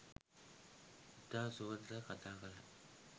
ඉතා සුහදව කථා කළා